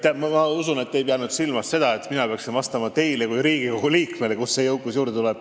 Ma usun, et te ei pea silmas seda, et ma peaksin vastama, kust teile kui Riigikogu liikmele jõukus juurde tuleb.